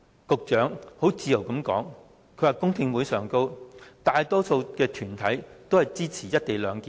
局長很自豪地說在公聽會上，大多數團體均支持"一地兩檢"。